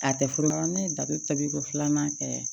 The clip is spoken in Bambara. A tɛ furu la ne ye da be tabi ko filanan kɛ